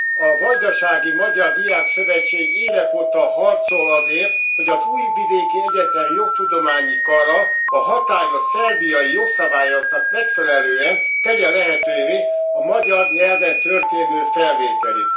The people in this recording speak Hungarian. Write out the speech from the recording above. A Vajdasági Magyar Diákszövetség évek óta harcol azért, hogy az Újvidéki Egyetem Jogtudományi Kara a hatályos szerbiai jogszabályoknak megfelelően, tegye lehetővé a magyar nyelven történő felvételit.